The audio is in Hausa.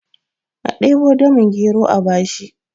a debo damin gero a bashi!